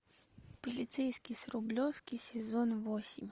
полицейский с рублевки сезон восемь